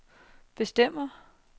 bestemmer